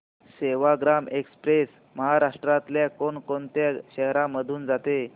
Sevagram express महाराष्ट्रातल्या कोण कोणत्या शहरांमधून जाते